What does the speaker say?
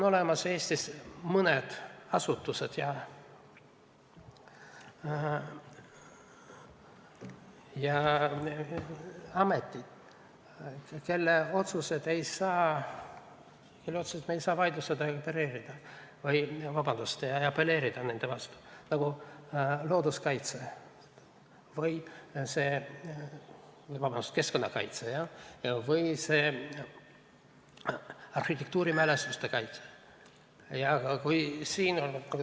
Eestis on mõned asutused ja ametid, kelle otsuseid ei saa vaidlustada ja apelleerida, nagu keskkonnakaitse või arhitektuurimälestiste kaitsega.